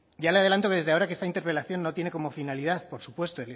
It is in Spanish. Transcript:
ya le adelanto desde ahora que esta interpelación no tiene como finalidad por supuesto